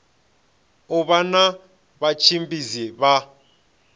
u vha na vhatshimbidzi vha